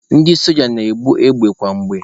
Ndị soja na-ebu égbè kwa mgbe.